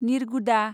निरगुदा